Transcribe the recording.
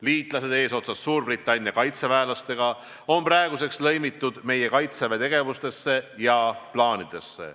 Liitlased eesotsas Suurbritannia kaitseväelastega on praeguseks lõimitud meie Kaitseväe tegevustesse ja plaanidesse.